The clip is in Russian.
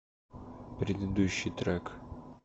предыдущий трек